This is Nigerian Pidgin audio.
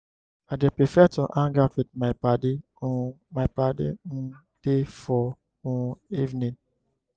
i dey prefer to hang out wit my paddy um my paddy um dem for um evening.